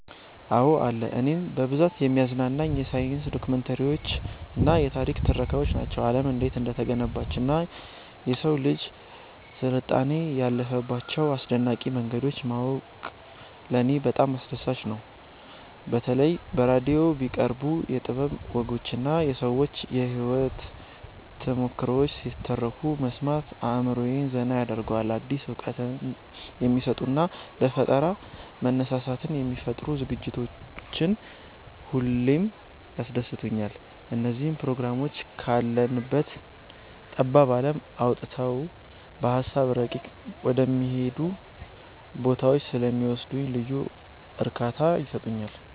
አዎ አለ። እኔን በብዛት የሚያዝናኑኝ የሳይንስ ዶክመንተሪዎችና የታሪክ ትረካዎች ናቸው። ዓለም እንዴት እንደተገነባችና የሰው ልጅ ስልጣኔ ያለፈባቸውን አስደናቂ መንገዶች ማወቁ ለኔ በጣም አስደሳች ነገር ነው። በተለይ በራዲዮ የሚቀርቡ የጥበብ ወጎችና የሰዎች የህይወት ተሞክሮዎች ሲተረኩ መስማት አእምሮዬን ዘና ያደርገዋል። አዲስ እውቀት የሚሰጡና ለፈጠራ መነሳሳትን የሚፈጥሩ ዝግጅቶች ሁሌም ያስደስቱኛል። እነዚህ ፕሮግራሞች ካለንበት ጠባብ ዓለም አውጥተው በሃሳብ ረቂቅ ወደሆኑ ቦታዎች ስለሚወስዱኝ ልዩ እርካታ ይሰጡኛል።